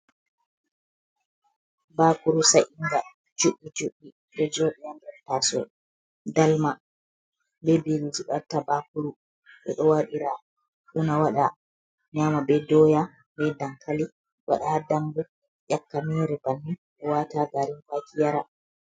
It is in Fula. Bakuru sa’inga, juɗɗi juɗɗi ɗo joɗi ha nɗer taso dalma, be biriji ɓe watta bakuru, ɓeɗo waɗira una waɗa nyama be doya, ɓe dakali, waɗa ha dambu, nƴakka mere banin, ɗo wata ha garin kwake yara.